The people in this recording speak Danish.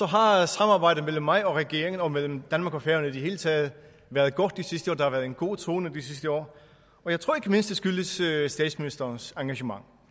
har har samarbejdet mellem mig og regeringen og mellem danmark og færøerne i det hele taget været godt de sidste år der har været en god tone de sidste år og jeg tror ikke mindst at det skyldes statsministerens engagement